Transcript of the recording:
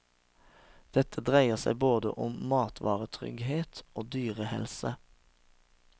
Dette dreier seg både om matvaretrygghet og dyrehelse.